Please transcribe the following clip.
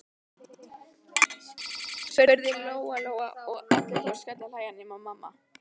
spurði Lóa Lóa, og allir fóru að skellihlæja nema mamma.